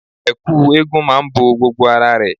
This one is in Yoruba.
Ẹ̀kú eégún máa ń bo gbogbo ara rẹ.